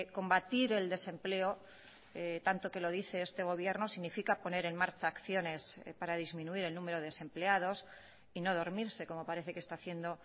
combatir el desempleo tanto que lo dice este gobierno significa poner en marcha acciones para disminuir el número de desempleados y no dormirse como parece que está haciendo